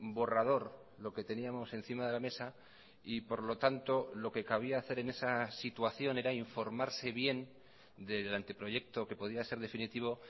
borrador lo que teníamos encima de la mesa y por lo tanto lo que cabía hacer en esa situación era informarse bien del anteproyecto que podía ser definitivo